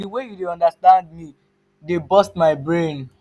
di wey you dey understand me dey burst my brain.